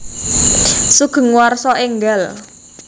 Sugeng Warsa Enggal